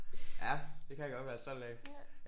Ja. Ja. Det kan jeg godt være stolt af